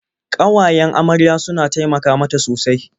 Ƙawayen amarya suna taimaka mata sosai.